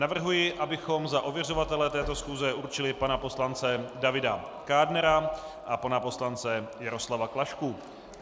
Navrhuji, abychom za ověřovatele této schůze určili pana poslance Davida Kádnera a pana poslance Jaroslava Klašku.